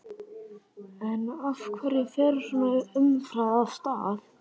En af hverju fer svona umræða af stað?